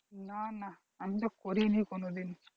না না আমিতো করিনি কোনোদিন